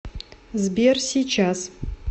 сбер сейчас